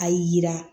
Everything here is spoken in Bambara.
A yira